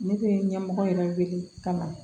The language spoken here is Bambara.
Ne bɛ ɲɛmɔgɔ yɛrɛ wele ka na